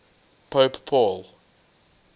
pope paul